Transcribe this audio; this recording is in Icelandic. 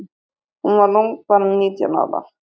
Hún var ung, bara nítján ára.